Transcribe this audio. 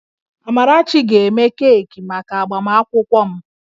Amarachi ga-eme keeki maka agbamakwụkwọ m